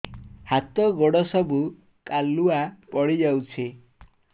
ହାତ ଗୋଡ ସବୁ କାଲୁଆ ପଡି ଯାଉଛି